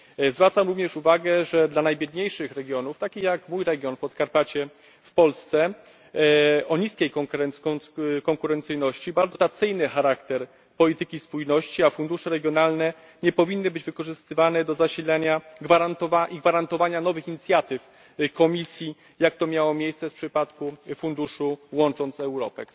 Zwracam również uwagę, że dla najbiedniejszych regionów, takich jak mój region, Podkarpacie, w Polsce o niskiej konkurencyjności bardzo ważny jest dotacyjny charakter polityki spójności, a fundusze regionalne nie powinny być wykorzystywane do zasilania i gwarantowania nowych inicjatyw Komisji, jak to miało miejsce w przypadku funduszu Łącząc Europę.